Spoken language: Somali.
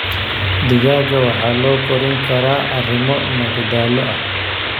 Digaagga waxaa loo korin karaa arrimo madadaalo ah.